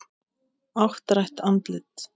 Áttrætt andlit.